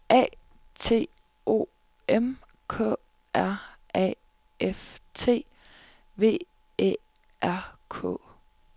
A T O M K R A F T V Æ R K